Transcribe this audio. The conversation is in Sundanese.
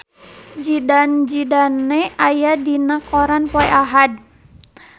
Zidane Zidane aya dina koran poe Ahad